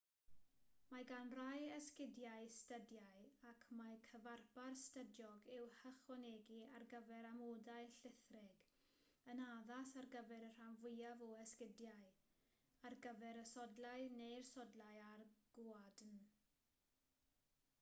mae gan rai esgidiau stydiau ac mae cyfarpar stydiog i'w hychwanegu ar gyfer amodau llithrig yn addas ar gyfer y rhan fwyaf o esgidiau ar gyfer y sodlau neu'r sodlau a'r gwadn